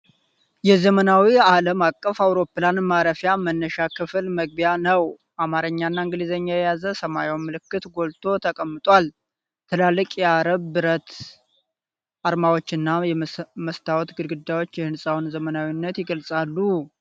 የዘመናዊ ዓለም አቀፍ አውሮፕላን ማረፊያ መነሻ ክፍል መግቢያ ነው ። አማርኛና እንግሊዘኛን የያዘ ሰማያዊ ምልክት ጎልቶ ተቀምጧል ። ትላልቅ የአረብ ብረት አርማታዎችና የመስታወት ግድግዳዎች የሕንፃውን ዘመናዊነት ይገልጻሉ ።